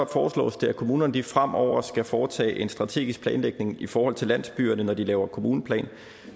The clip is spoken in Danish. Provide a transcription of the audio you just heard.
foreslås det at kommunerne fremover skal foretage en strategisk planlægning i forhold til landsbyerne når de laver kommuneplan